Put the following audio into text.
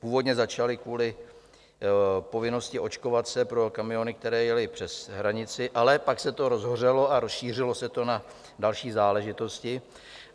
Původně začaly kvůli povinnosti očkovat se pro kamiony, které jely přes hranici, ale pak se to rozhořelo a rozšířilo se to na další záležitosti.